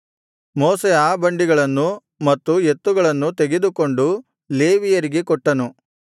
ಮೋಶೆ ಆ ಬಂಡಿಗಳನ್ನೂ ಮತ್ತು ಎತ್ತುಗಳನ್ನೂ ತೆಗೆದುಕೊಂಡು ಲೇವಿಯರಿಗೆ ಕೊಟ್ಟನು